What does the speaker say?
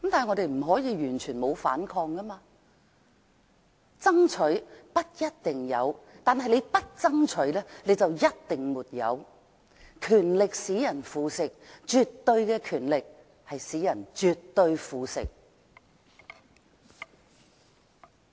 我們不可以完全不反抗，"爭取，不一定有；不爭取的話，就一定沒有"，"權力使人腐蝕，絕對權力使人絕對腐蝕"。